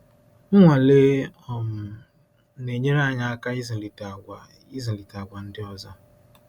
Nnwale um na-enyere anyị aka ịzụlite àgwà ịzụlite àgwà ndị ọzọ.